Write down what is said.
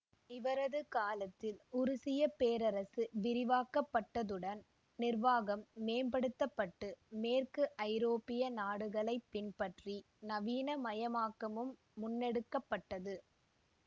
இவரது காலத்தில் உருசிய பேரரசு விரிவாக்கப்பட்டதுடன் நிர்வாகம் மேம்படுத்தப்பட்டு மேற்கு ஐரோப்பிய நாடுகளை பின்பற்றி நவீனமயமாக்கமும் முன்னெடுக்க பட்டது